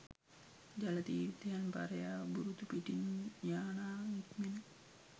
ජල තීර්ථයන් පරයා බුරුතු පිටින් යානා නික්මෙන